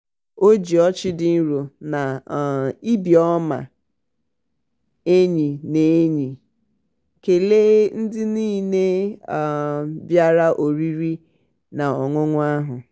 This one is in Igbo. o ji ọchị dị nro na ibi um ọma enyi na enyi um um kelee ndị niile bịara oriri ha ọṅụṅụ ahụ.